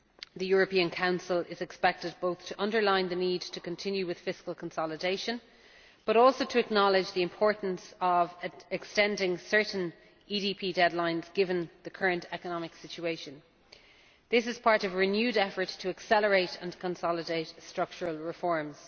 The European Council is expected not only to underline the need to continue with fiscal consolidation, but also to acknowledge the importance of extending certain EDP deadlines, given the current economic situation. This is part of a renewed effort to accelerate and consolidate structural reforms.